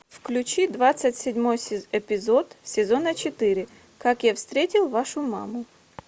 включи двадцать седьмой эпизод сезона четыре как я встретил вашу маму